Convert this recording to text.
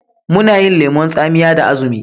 Muna yin lemon tsamiya da azumi.